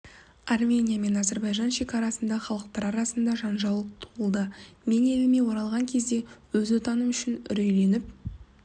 армения мен азербайджан шекарасында халықтары арасында жанжал туылды мен еліме оралған кезде өз отыным үшін үрейленіп